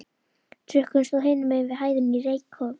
Trukkurinn stóð hinum megin við hæðina í reykjarkófi.